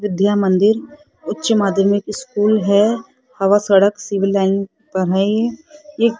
विद्या मंदिर उच्चमध्यमिक स्कूल है हवा सड़क सिविल लाइन पर है ये ये --